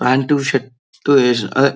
pant shirt వేసాడు అదే--